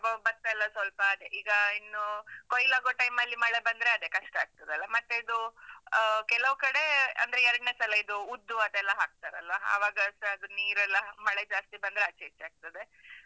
ಬೊ~ ಭತ್ತ ಎಲ್ಲ ಸ್ವಲ್ಪ ಅದೇ, ಈಗ ಇನ್ನೂ ಕೊಯ್ಲಾಗುವ time ಅಲ್ಲಿ ಮಳೆ ಬಂದ್ರೆ ಅದೇ ಕಷ್ಟ ಆಗ್ತದಲ್ಲ? ಮತ್ತೆ ಇದು ಆ ಕೆಲವು ಕಡೆ ಅಂದ್ರೆ ಎರಡ್ನೆ ಸಲ ಇದು ಉದ್ದು ಅದೆಲ್ಲ ಹಾಕ್ತಾರಲ್ಲ, ಆವಾಗಸ ಅದು ನೀರೆಲ್ಲ ಮಳೆ ಜಾಸ್ತಿ ಬಂದ್ರೆ ಆಚೆ ಈಚೆ ಆಗ್ತದೆ.